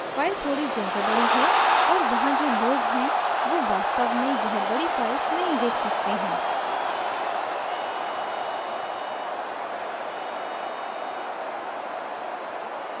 files थोड़ी ज़्यादा बड़ी है और वहाँ जो लोग हैं who वास्तव में यह बड़ी files नहीं देख सकते हैं